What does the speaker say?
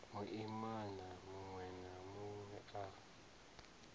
muimana munwe na munwe a